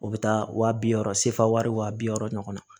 O bɛ taa wa bi wɔɔrɔ sefara wa bi wɔɔrɔ ɲɔgɔn na